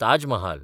Taj Mahal